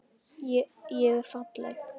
Ég er falleg.